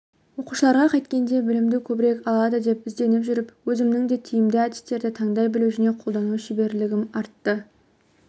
оқушыларға қайткенде білімді көбірек алады деп ізденіп жүріп өзімнің де тиімді әдістерді таңдай білу және қолдану шеберлігім артты